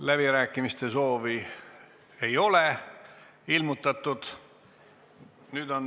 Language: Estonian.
Läbirääkimiste soovi ei ole ilmutatud.